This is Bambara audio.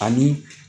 Ani